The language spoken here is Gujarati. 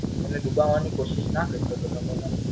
એને ડુબાવાની કોસિસ ના કરી શકતો તો.